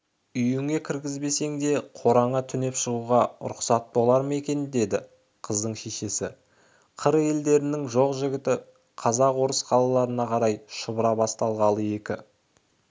үйіңе кіргізбесең де қораңа түнеп шығуға лұқсатың болар ма екен деді қыздың шешесі қыр елдерінің жоқ-жітігі қазақ-орыс қалаларына қарай шұбыра бастағалы екі